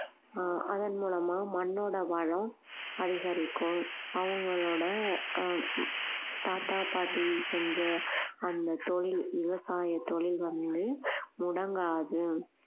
ஆஹ் அதன் மூலமா மண்ணோட வளம் அதிகரிக்கும் அவங்களோட ஆஹ் எர் தாத்தா பாட்டி செஞ்ச அந்த தொழில் விவசாய தொழில் வந்து முடங்காது